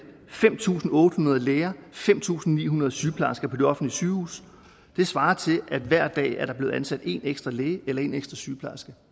fem tusind otte hundrede læger og fem tusind ni hundrede sygeplejersker mere på de offentlige sygehuse det svarer til at der hver dag er blevet ansat en ekstra læge eller en ekstra sygeplejerske